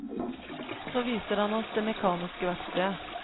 Så viser han oss det mekaniske verkstedet.